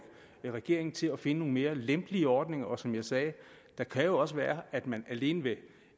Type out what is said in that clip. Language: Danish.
regeringen til at finde nogle mere lempelige ordninger og som jeg sagde det kan jo også være at man alene ved